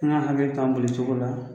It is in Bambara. I n'a fɔ tan boli cogo la